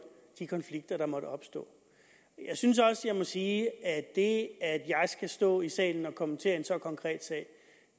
de konflikter der måtte opstå jeg synes også jeg må sige at det at jeg skal stå i salen og kommentere en så konkret sag